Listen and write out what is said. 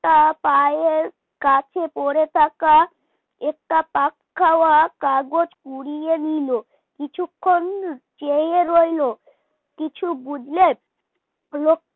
তার পায়ের কাছে পড়ে থাকা একটা পাক খাওয়া কাগজ কুড়িয়ে নিয়ে নিল কিছুক্ষণ চেয়ে রইল কিছু বুঝলে লোক